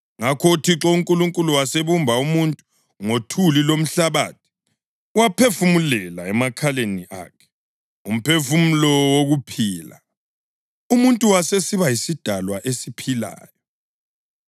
Ngakho uThixo uNkulunkulu wasebumba umuntu ngothuli lomhlabathi, waphefumulela emakhaleni akhe umphefumulo wokuphila, umuntu wasesiba yisidalwa esiphilayo.